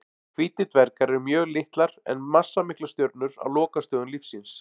Hvítir dvergar eru mjög litlar en massamiklar stjörnur á lokastigum lífs síns.